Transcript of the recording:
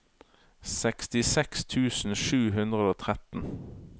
sekstiseks tusen sju hundre og tretten